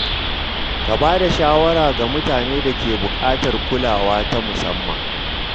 Ka bada shawara ga mutanen da ke buƙatar kulawa ta musamman.